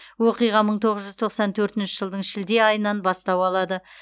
оқиға мың тоғыз жүз тоқсан төртінші жылдың шілде айынан бастау алады